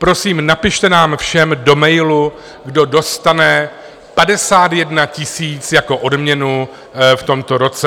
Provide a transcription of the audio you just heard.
Prosím, napište nám všem do mailu, kdo dostane 51 000 jako odměnu v tomto roce.